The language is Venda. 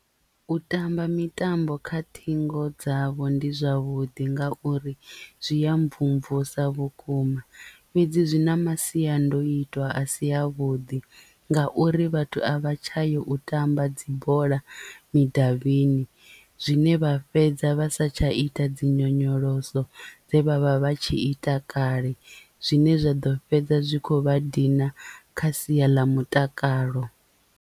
U tamba mitambo kha ṱhingo dzavho ndi zwavhuḓi ngauri zwi ya mvumvusa vhukuma fhedzi zwi na masiandoitwa a si a vhuḓi ngauri vhathu a vha tsha yo u tamba dzi bola mudavhini zwine vha fhedza vha sa tsha ita dzi nyonyoloso dze vha vha vha tshi ita kale zwine zwa ḓo fhedza zwi kho vha dina kha sia ḽa mutakalo.